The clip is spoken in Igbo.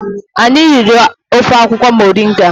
Anyị riri ofe akwukwo moringa